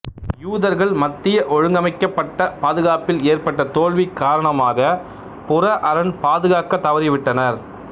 யூதர்கள் மத்திய ஒழுங்கமைக்கப்பட்ட பாதுகாப்பில் ஏற்பட்ட தோல்வி காரணமாக புற அரண் பாதுகாக்க தவறிவிட்டனர்